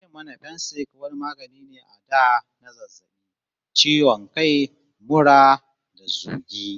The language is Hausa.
An ce mana Fensik wani magani ne a da na zazzabi, ciwo kai, mura da zogi.